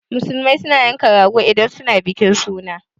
Musulmai suna yanka rago idan suna bikin suna